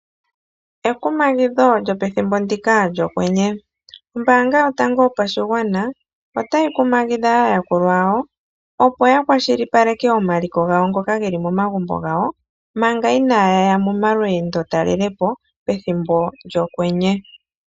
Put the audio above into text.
Ekumagidho lyopethimbo ndika lyokwenye. Ombaanga yotango yopashigwana otayi kumagidha aayakulwa yayo opo yakwashilipaleke omaliko gawo ngoka geli momagumbo gawo, manga iñaaya momalweendotalelepo, pethimbo lyokwenye.